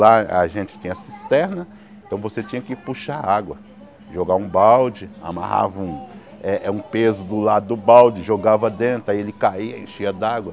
Lá a gente tinha cisterna, então você tinha que puxar água, jogar um balde, amarrava eh eh um peso do lado do balde, jogava dentro, aí ele caía, enchia d'água.